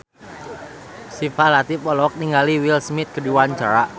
Syifa Latief olohok ningali Will Smith keur diwawancara